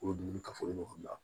Olu dumuni kafo ɲɔgɔn la